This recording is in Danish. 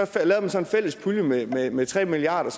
en fælles pulje med med tre milliard